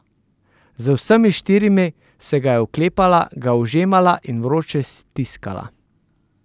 Z vsemi štirimi se ga je oklepala, ga ožemala in vroče stiskala.